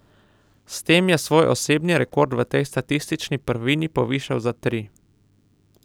S tem je svoj osebni rekord v tej statistični prvini povišal za tri.